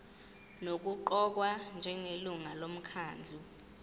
nokuqokwa njengelungu lomkhandlu